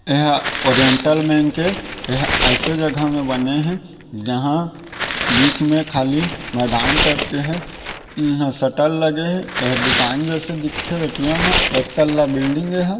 एह oriental bank है एह ऐसे जगह में बने है जहां बीच में खाली मैदान टाइप के है इहा शटर लगे हे एह दुकान जैसे दिखथे ए_टी_एम ह एक तल्ला बिल्डिंग हे एह ।